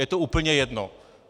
Je to úplně jedno.